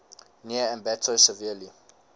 near ambato severely